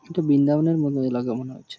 এটা বৃন্দাবন এর মতো এলাকা মনে হচ্ছে।